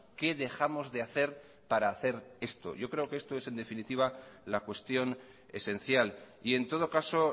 qué dejamos de hacer para hacer esto yo creo que esto es en definitiva la cuestión esencial y en todo caso